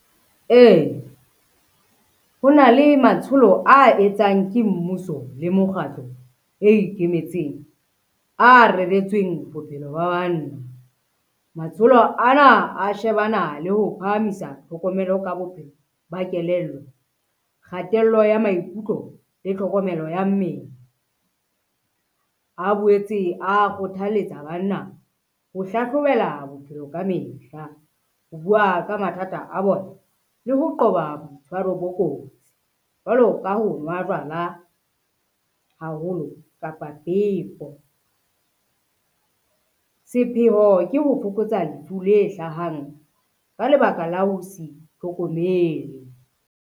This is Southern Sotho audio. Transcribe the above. Ee, ho na le matsholo a etsang ke mmuso le mokgatlo e ikemetseng a reretsweng bophelo ba banna. Matsholo ana a shebana le ho phahamisa tlhokomelo ka bophelo ba kelello, kgatello ya maikutlo le tlhokomelo ya mmele. A boetse a kgothalletsa banna ho hlahlobela bophelo ka mehla, ho bua ka mathata a bona, le ho qoba boitshwaro bo kotsi, jwalo ka ho nwa jwala haholo kapa . Sepheho ke ho fokotsa lefu le hlahang ka lebaka la ho se itlhokomele.